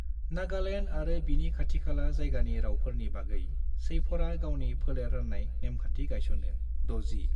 नागालैंड आरो बिनि खाथिखाला जायगानि रावफोरनि बागै शैफरआ गावनि फोलेर राननाय नेमखान्थि गायसनो। [60]